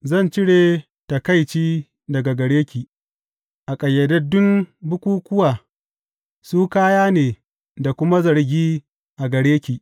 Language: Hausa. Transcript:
Zan cire taƙaici daga gare ki a ƙayyadaddun bukukkuwa; su kaya ne da kuma zargi a gare ki.